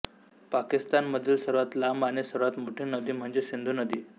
पाकिस्तानमधील सर्वात लांब आणि सर्वात मोठी नदी म्हणजे सिंधू नदी